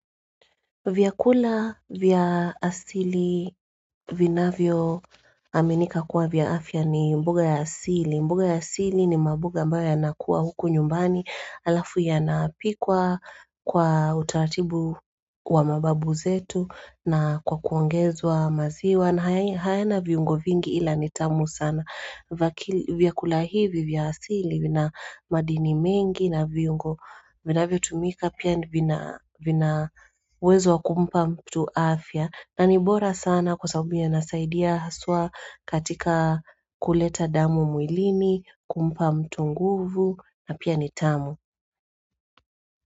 Vyakula vya asili vina vyo aminika kuwa vya afya ni mboga ya asili mbuga ya asili ni mbuga ambayo yanakuwa huku nyumbani Alafu yanapikwa kwa utaratibu wa mbabu zetu na kwa kuongezwa maziwa na haya na viungo vingi ila nitamu sana vyakula hivi vya asili vina madini mengi na viungo vina vyo tumika Pia vina wezo kumpa mtu afya na nibora sana kwa sababu ya nasaidia haswa katika kuleta damu muilini kumpa mtu nguvu na pia nitamu.